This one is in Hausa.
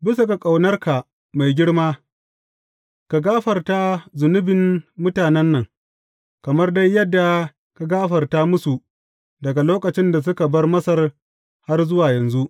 Bisa ga ƙaunarka mai girma, ka gafarta zunubin mutanen nan, kamar dai yadda ka gafarta musu daga lokacin da suka bar Masar har zuwa yanzu.